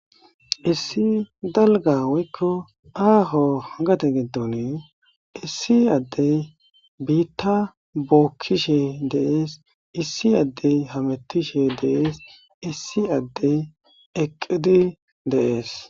Issi dalgga woykko aaho gade giddonii issi addey biiththaa bookkishe de7ees; issi addey hameththishe de7ees; issi addey eqqidi de7ees.